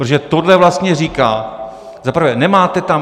Protože tohle vlastně říká - za prvé, nemáte tam...